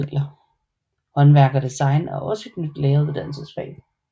Håndværk og design er også et nyt læreruddannelsesfag